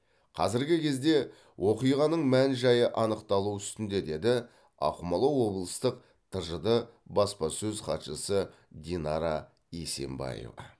қазіргі кезде оқиғаның мән жайы анықталу үстінде деді ақмола облыстық тжд баспасөз хатшысы динара есенбаева